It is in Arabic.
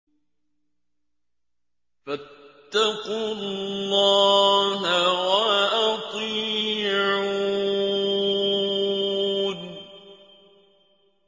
فَاتَّقُوا اللَّهَ وَأَطِيعُونِ